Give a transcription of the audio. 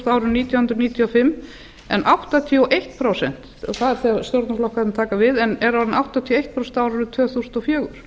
árinu nítján hundruð níutíu og fimm það er þegar stjórnarflokkarnir taka við en er orðin áttatíu og eitt prósent á árinu tvö þúsund og fjögur